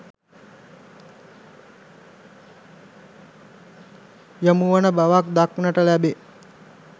යොමුවන බවක් දක්නට ලැබේ.